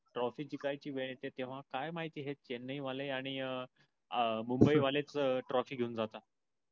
trophy जिंकायची वेळ येतय तेव्हा काय माहिती हे चेन्नईवाले आणि मुंबईवालेच trophy घिऊन जाता.